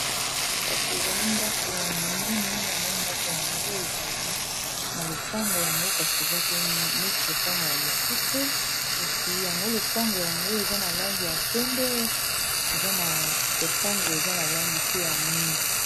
Kasi ezali, ndako ya munene. Yango ndako yango, ezali na lopango. Yango kasi, eza pe neti lopango ya mukuse. Kasi yango lopango yango, eza na langi ya pembe. Eza na lopango eza na langi pe ya mwindu.